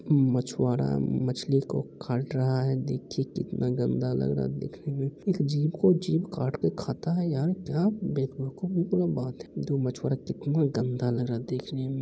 मछवारा म मछली को काँट रहा है देखिये कितना गंदा लग रहा है देखने में जीव को जीव काट कर खाता है यार क्या बेवकुफो की तरह बात है | मछवारा कितना गंदा लग रहा है देखने में।